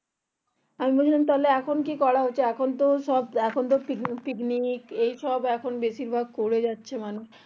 আমি বললাম তাহলে এখন কি করা হচ্ছে এখন তো সব picnic tiknic এই সব করে যাচ্ছে মানুষ